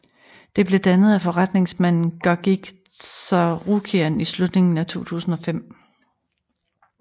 Det blev dannet af forretningsmanden Gagik Tsarukian i slutningen af 2005